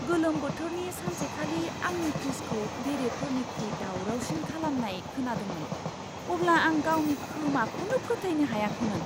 गोलोम बोथोरनि सानसेखालि आंनि फ्रिजखौ बेरेफोरनिख्रुइ दावरावसिन खालामनाय खोनादोंमोन, अब्ला आं गावनि खोमाखौनो फोथायनो हायाखैमोन!